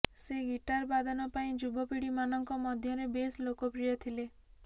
ସେ ଗିଟାର ବାଦନ ପାଇଁ ଯୁବପିଢି ମାନଙ୍କ ମଧ୍ୟରେ ବେଶ୍ ଲୋକପ୍ରିୟ ଥିଲେ